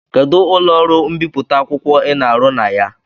Kedụ ụlọ ọrụ mbipụta akwụkwọ Ị na-arụ na ya?